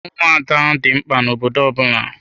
Ụmụada dị mkpa na obodo ọbụla.